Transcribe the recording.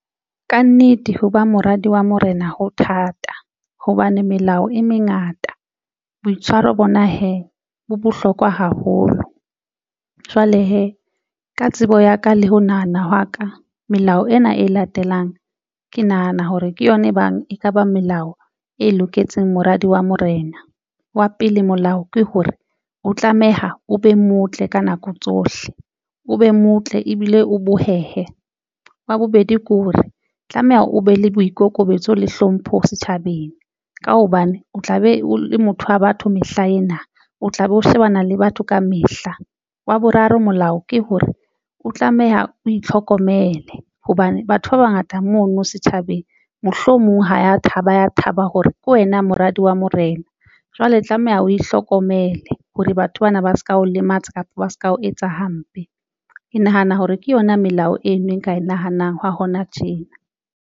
Kannete ho ba moradi wa morena ho thata hobane melao e mengata boitshwaro bona hee bo bohlokwa haholo jwale hee ka tsebo ya ka le ho nahana hwa ka melao ena e latelang ke nahana hore ke yona e bang e kaba melao e loketseng moradi wa morena wa pele molao ke hore o tlameha o be motle ka nako tsohle o be motle ebile o bohehe. Wa bobedi, ke hore tlameha o be le boikokobetso le hlompho setjhabeng. Ka hobane o tla be o le motho wa batho mehla ena o tla be o shebana le batho ka mehla. Wa boraro, molao ke hore o tlameha o itlhokomele hobane batho ba bangata mono setjhabeng, mohlomong ho thaba ya thaba hore ke wena moradi wa Morena. Jwale tlameha o ihlokomele hore batho bana ba se ka o lematsa kapa ba se ka o etsa hampe. Ke nahana hore ke yona melao e nngwe e nka e nahanang hwa hona tjena.